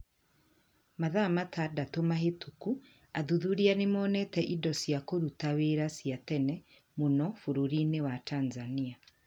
Mathaa matandatũ mahĩtũku athuthuria nĩ monete indo cia kũruta wĩra cia tene mũno bũrũri wa Tanzania.